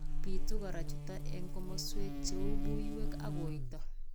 Bitu kora chutok eng' komaswek cheu buonwek ak koito